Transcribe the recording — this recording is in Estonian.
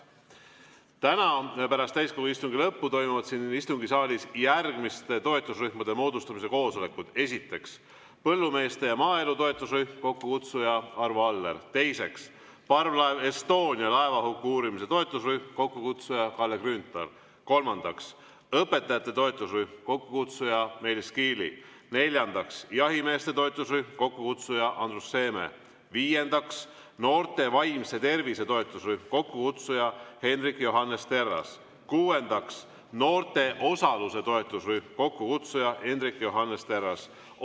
Täna pärast täiskogu istungi lõppu toimuvad siin istungisaalis järgmiste toetusrühmade moodustamise koosolekud: esiteks, põllumeeste ja maaelu toetusrühm, kokkukutsuja Arvo Aller; teiseks, parvlaev Estonia laevahuku uurimise toetusrühm, kokkukutsuja Kalle Grünthal; kolmandaks, õpetajate toetusrühm, kokkukutsuja Meelis Kiili; neljandaks, jahimeeste toetusrühm, kokkukutsuja Andrus Seeme; viiendaks, noorte vaimse tervise toetusrühm, kokkukutsuja Hendrik Johannes Terras; kuuendaks, noorte osaluse toetusrühm, kokkukutsuja Hendrik Johannes Terras.